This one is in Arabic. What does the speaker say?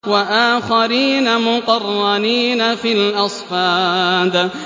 وَآخَرِينَ مُقَرَّنِينَ فِي الْأَصْفَادِ